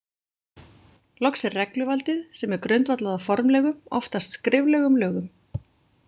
Loks er regluvaldið, sem er grundvallað á formlegum, oftast skriflegum, lögum.